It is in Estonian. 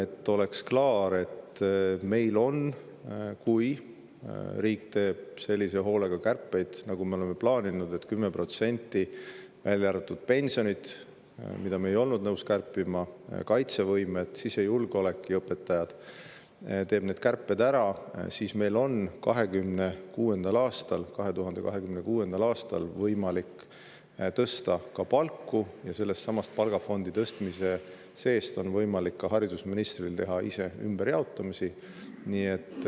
Et oleks klaar, siis kui riik teeb sellise hoolega kärpeid, nagu me oleme plaaninud, 10% – välja arvatud pensionid, mida me ei olnud nõus kärpima, samuti kaitsevõime, sisejulgeolek ja õpetajad –, kui ta teeb need kärped ära, siis on meil 2026. aastal võimalik tõsta palku ja sellesama palgafondi tõstmise tõttu on ka haridusministril võimalik teha ise ümberjaotamisi.